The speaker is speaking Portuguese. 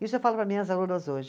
Isso eu falo para minhas alunas hoje.